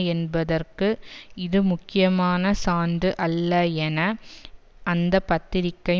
என்பதற்கு இது முக்கியமான சான்று அல்ல என அந்த பத்திரிகை